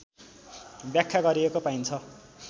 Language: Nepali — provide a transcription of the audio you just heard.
व्याख्या गरिएको पाइन्छ